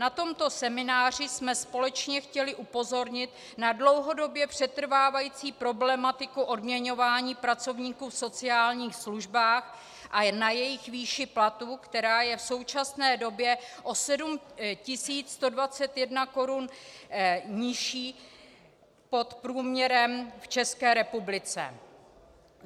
Na tomto semináři jsme společně chtěli upozornit na dlouhodobě přetrvávající problematiku odměňování pracovníků v sociálních službách a na jejich výši platu, která je v současné době o 7 121 korun nižší pod průměrem v České republice.